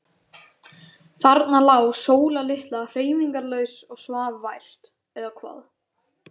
Þarna lá Sóla litla hreyfingarlaus og svaf vært. eða hvað?